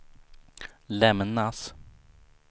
lämnas